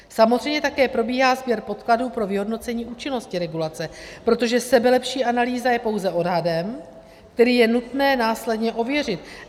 Samozřejmě také probíhá sběr podkladů pro vyhodnocení účinnosti regulace, protože sebelepší analýza je pouze odhadem, který je nutné následně ověřit.